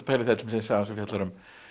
saga sem fjallar um